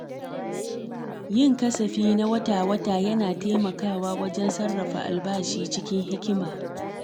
Yin kasafi na wata-wata yana taimakawa wajen sarrafa albashi cikin hikima.